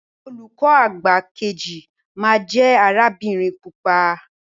Olùkọ àgbà keji ma jẹ arabinrin pupa.